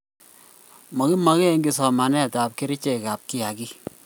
makimeken kiy somanetab kerchekab kiagik.